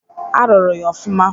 A rụrụ ya ofụma.